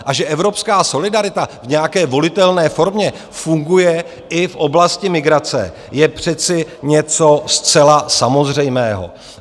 A že evropská solidarita v nějaké volitelné formě funguje i v oblasti migrace, je přece něco zcela samozřejmého.